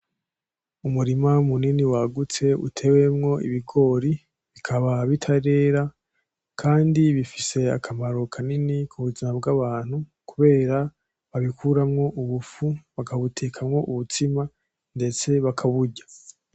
Umurima munini wagutse utewemwo ibigori bikaba bitarera kandi bifise akamaro kanini kubuzima bw'abantu kubera babikuramwo ubufu bakabutekamwo ubutsima ndetse bakaburya.